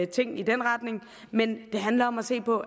ting i den retning men det handler om at se på